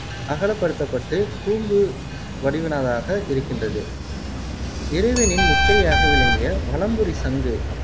அகலப்படுத்தப்பட்டு கூம்பு வடிவினதாக இருக்கின்றது. இறைவனின் முத்திரையாக விளங்கிய வலம்புரி சங்கு